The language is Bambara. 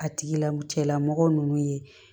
A tigila cɛlamɔgɔ nunnu ye